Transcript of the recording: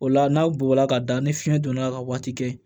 O la n'aw bola ka da ni fiɲɛ donna ka waati kɛ